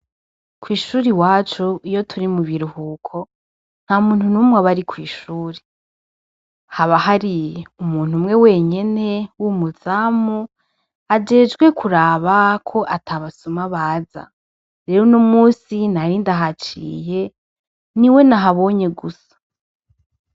Kwishure iwacu iyo turi mubiruhuko ntamuntu numwe aba ari kwishure haba hari umuntu umwe wenyene wumuzamu ajejwe kuraba ko atabasuma baza, rero uno munsi nari ndahaciye niwe nahabonye gusa.